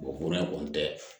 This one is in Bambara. kɔni tɛ